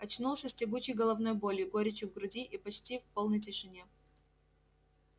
очнулся с тягучей головной болью горечью в груди и почти в полной тишине